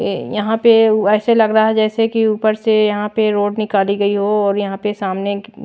यहां पे ऐसे लग रहा है जैसे कि ऊपर से यहां पे रोड निकाली गई हो और यहां पे सामने--